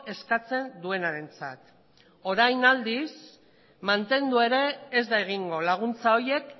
eskatzen duenarentzat orain aldiz mantendu ere ez da egingo laguntza horiek